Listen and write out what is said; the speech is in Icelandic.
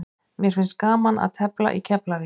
Mér finnst gaman að tefla í Keflavík.